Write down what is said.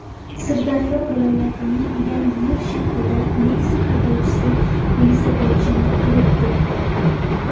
Sirdaryo viloyatining Yangiyer shahrida Nexia haydovchisi velosipedchini urib ketdi.